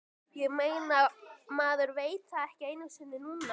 Ég meina, maður veit það ekki einu sinni núna.